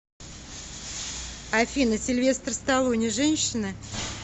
афина сильвестр сталлоне женщина